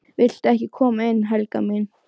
VILTU EKKI KOMA INN, HELGA MÍN!